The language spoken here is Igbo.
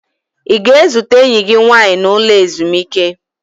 Ị ga-ezute enyi gị nwaanyị n'ụlọ ezumike?